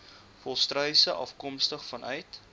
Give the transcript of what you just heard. volstruise afkomstig vanuit